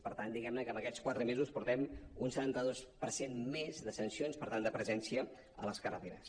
per tant diguem ne que en aquests quatre mesos portem un setanta dos per cent més de sancions per tant de presència a les carreteres